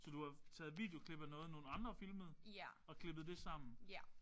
Så du har taget videoklip af noget nogle andre har filmet og klippet det sammen?